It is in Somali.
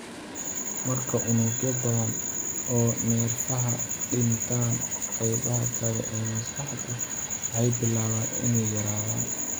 Marka unugyo badan oo neerfaha dhintaan, qaybaha kale ee maskaxdu waxay bilaabaan inay yaraadaan.